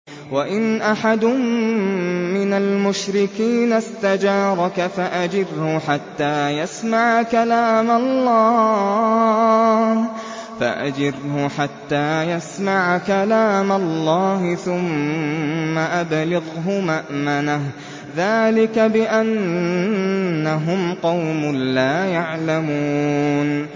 وَإِنْ أَحَدٌ مِّنَ الْمُشْرِكِينَ اسْتَجَارَكَ فَأَجِرْهُ حَتَّىٰ يَسْمَعَ كَلَامَ اللَّهِ ثُمَّ أَبْلِغْهُ مَأْمَنَهُ ۚ ذَٰلِكَ بِأَنَّهُمْ قَوْمٌ لَّا يَعْلَمُونَ